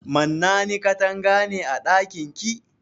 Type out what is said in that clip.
Mannani katanga ne a ɗakin ki?